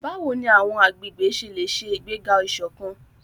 Báwo ni àwọn agbègbè ṣe lè ṣe ìgbéga ìṣọ̀kan?